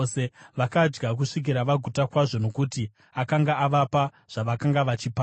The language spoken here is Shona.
Vakadya kusvikira vaguta kwazvo, nokuti akanga avapa zvavakanga vachipanga.